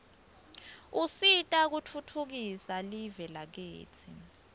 usita kutfutfukisa live lakitsi